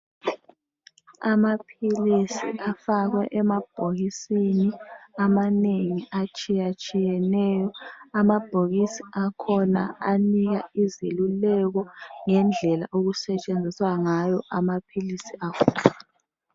Amaphilisi afakwe emabhokisini amanengi atshiye tshiyeneyo amabhokisi akhona anika izeluleko ngendlela okusetshenziswa ngayo amaphilisi lawa.